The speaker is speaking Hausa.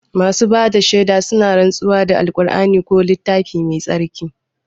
Masu bada shaida suna rantsuwa da kur'ani ko littafi mai tsarki